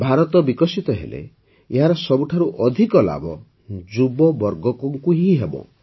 ଭାରତ ବିକଶିତ ହେଲେ ଏହାର ସବୁଠାରୁ ଅଧିକ ଲାଭ ଯୁବବର୍ଗଙ୍କୁ ହିଁ ହେବ